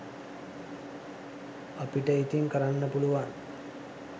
අපිට ඉතින් කරන්න පුළුවන්